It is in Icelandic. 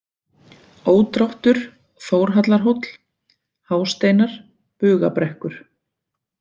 Ódráttur, Þórhallarhóll, Hásteinar, Bugabrekkur